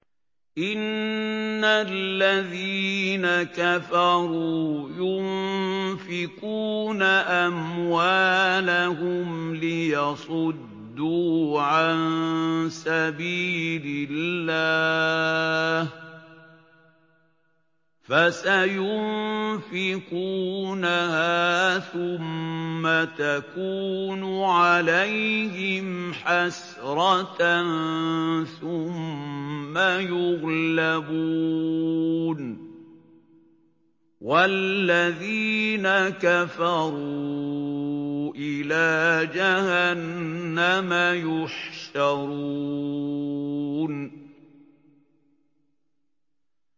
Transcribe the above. إِنَّ الَّذِينَ كَفَرُوا يُنفِقُونَ أَمْوَالَهُمْ لِيَصُدُّوا عَن سَبِيلِ اللَّهِ ۚ فَسَيُنفِقُونَهَا ثُمَّ تَكُونُ عَلَيْهِمْ حَسْرَةً ثُمَّ يُغْلَبُونَ ۗ وَالَّذِينَ كَفَرُوا إِلَىٰ جَهَنَّمَ يُحْشَرُونَ